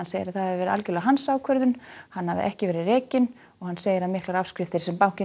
segir að það hafi verið algjörlega hans ákvörðun hann hafi ekki verið rekinn hann segir að miklar afskriftir sem bankinn